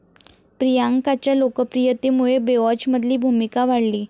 प्रियांकाच्या लोकप्रियतेमुळे 'बेवॉच'मधली भूमिका वाढली